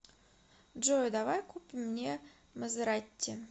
джой давай купим мне мазератти